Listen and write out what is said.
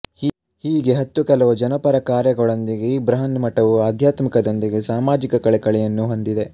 ಹೀಗೆ ಹತ್ತು ಕೆಲವು ಜನಪರ ಕಾರ್ಯಗಳೊಂದಿಗೆ ಈ ಬೃಹನ್ಮಠವು ಆಧ್ಯಾತ್ಮಿಕದೊಂದಿಗೆ ಸಾಮಾಜಿಕ ಕಳಕಳಿಯನ್ನು ಹೊಂದಿದೆ